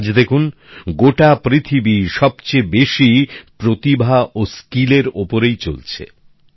আর আজ দেখুন গোটা পৃথিবী সবচেয়ে বেশি প্রতিভা ও দক্ষতার ওপরেই চলছে